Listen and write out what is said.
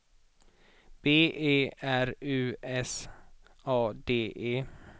B E R U S A D E